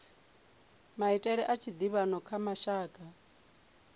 maitele a tshiḓivhano kha mashaka